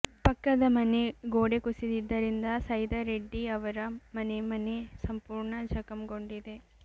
ಪಕ್ಕದ ಮನೆ ಗೋಡೆ ಕುಸಿದಿದ್ದರಿಂದ ಸೈದಾರೆಡ್ಡಿ ಅವರ ಮನೆ ಮನೆ ಸಂಪೂರ್ಣ ಜಖಂಗೊಂಡಿದೆ